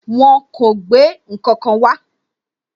Wọn kò gbé ǹkankan wá.